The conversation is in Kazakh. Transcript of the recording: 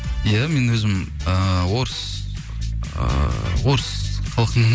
иә мен өзім ыыы орыс ыыы орыс халықтың